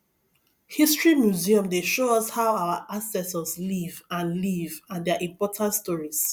history museum dey show us how our ancestors live and live and their important stories